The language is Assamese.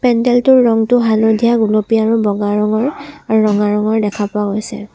পেণ্ডেলটোৰ ৰঙটো হালধীয়া গুলপীয়া আৰু বগা ৰঙৰ আৰু ৰঙা ৰঙৰ দেখা পোৱা গৈছে।